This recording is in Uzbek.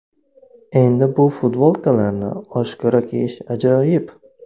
Endi bu futbolkalarni oshkora kiyish ajoyib.